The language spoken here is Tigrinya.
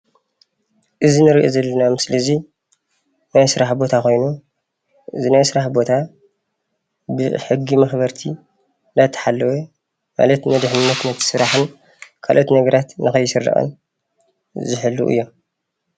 እዚ እንሪኦ ዘለና ምስሊ እዙይ ናይ ስራሕ ቦታ ኾይኑ እዚ ናይ ስራሕ ቦታ ብሕጊ መኽበርቲ እናተሓለወ ማለት ንድሕንነት ነቲ ስራሕን ካሎኦት ነገራት ንከይስረቅን ዝሕልዉ እዮም።